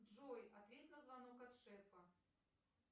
джой ответь на звонок от шефа